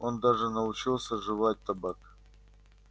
он даже научился жевать табак